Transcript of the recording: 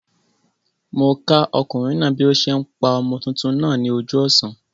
Mó okùnrin náà bí o se n pa ọmọ tuntun náà ní ojú òsán